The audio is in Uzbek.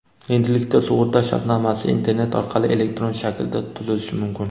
endilikda sug‘urta shartnomasi internet orqali elektron shaklda tuzilishi mumkin.